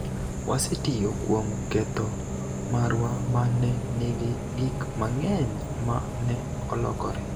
wasetiyo kuom ketho marwa ma ne nigi gik mang'eny ma ne olokore.